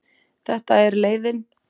Þetta er leiðin.